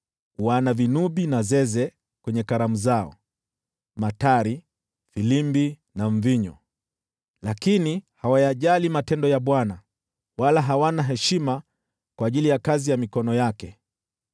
Wana vinubi na zeze kwenye karamu zao, matari, filimbi na mvinyo, lakini hawayajali matendo ya Bwana , wala hawana heshima kwa ajili ya kazi ya mikono yake.